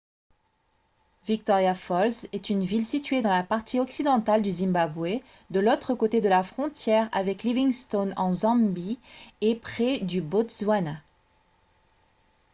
victoria falls est une ville située dans la partie occidentale du zimbabwe de l'autre côté de la frontière avec livingstone en zambie et près du botswana